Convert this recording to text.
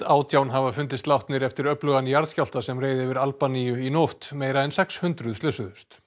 átján hafa fundist látin eftir öflugan jarðskjálfta sem reið yfir Albaníu í nótt meira en sex hundruð slösuðust